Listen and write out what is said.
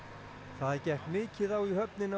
það gekk mikið á í höfninni á